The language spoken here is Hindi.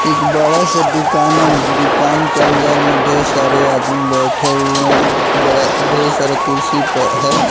एक बड़ा सा दुकान है दुकान के अंदर में ढेर सारे आदमी बैठे हुए बड़ा ढेर सारा कुर्सी पर है।